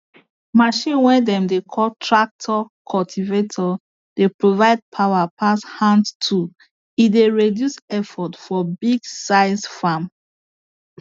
machine way dem dey call tractor cultivator dey provide power pass hand tool e dey reduce effort for big size farm